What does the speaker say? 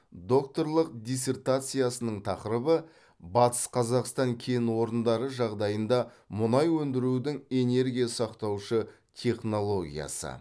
докторлық диссертациясының тақырыбы батыс қазақстан кен орындары жағдайында мұнай өндірудің энергия сақтаушы технологиясы